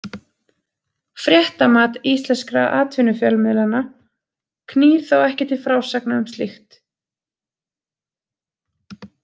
„Fréttamat“ íslenskra atvinnufjölmiðlanna knýr þá ekki til frásagna um slíkt.